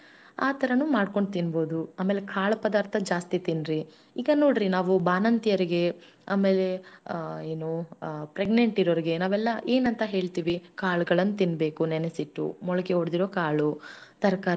ಕಾಯಿ ದಿನಸಾ ತಿನ್ಬೇಕು ತಪ್ಪಲ್ ಪಲ್ಯ ತಿನ್ಬೇಕು ಅಂತಿವಿ ಯಾಕಂದ್ರೆ ಹೊಟ್ಟೇಲಿ ಒಂದ ಮಗು ಇರತ್ತಲ್ಲಾ ನೋಡಿ ದೇವರ ಅದಕಂತಾನೆ ಈ ತರ ಎಲ್ಲಾ ಸೃಷ್ಟಿ ಮಾಡಿರತಾನೆ ಅದಕ್ಕೆ ಅದಕ್ ನಾನ್ ಹೇಳದು ಏನು ಸಸ್ಯಹಾರಿಯಿಂದ ಬಾಳ ಉಪಯೋಗ ಅದಾವ.